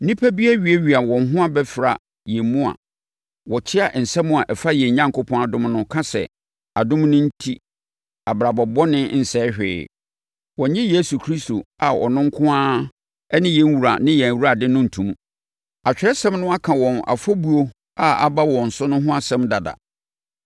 Nnipa bi awiawia wɔn ho abɛfra yɛn mu a wɔkyea asɛm a ɛfa yɛn Onyankopɔn adom no ka sɛ adom no enti abrabɔ bɔne nsɛe hwee. Wɔnnye Yesu Kristo a ɔno nko ara ne yɛn Wura ne yɛn Awurade no nto mu. Atwerɛsɛm no aka wɔn afɔbuo a aba wɔn so no ho asɛm dada.